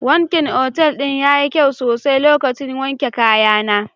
Wankin otal ɗin yayi kyau sosai lokacin wanke kayana.